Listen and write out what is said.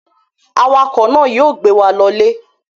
Awakọ̀ náà yóò gbé wa lọlé.